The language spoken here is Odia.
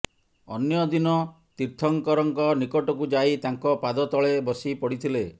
ଅନ୍ୟ ଦିନ ତୀର୍ଥଙ୍କରଙ୍କ ନିକଟକୁ ଯାଇ ତାଙ୍କ ପାଦତଳେ ବସିପଡ଼ିଥିଲେ